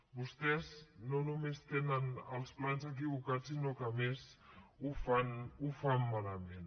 vostès no només tenen els plans equivocats sinó que a més ho fan malament